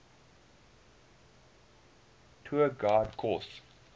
tour guide course